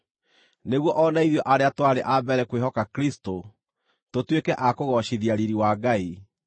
nĩguo o na ithuĩ arĩa twarĩ a mbere kwĩhoka Kristũ, tũtuĩke a kũgoocithia riiri wa Ngai.